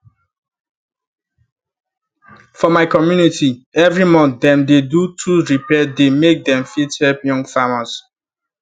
for my community every month them dey do tools repair day make them fit help young famers